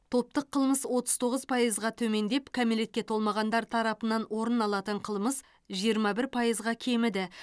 топтық қылмыс отыз тоғыз пайызға төмендеп кәмелетке толмағандар тарапынан орын алатын қылмыс жиырма бір пайызға кеміді